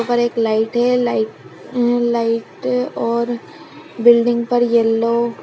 ऊपर एक लाइट है लाइट अ लाइट और बिल्डिंग पर येलो --